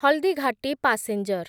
Haldighati passenger